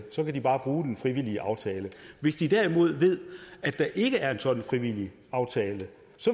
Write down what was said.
så vil de bare bruge den frivillige aftale hvis de derimod ved at der ikke er en sådan frivillig aftale